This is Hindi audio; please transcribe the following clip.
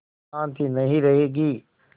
शान्ति नहीं रहेगी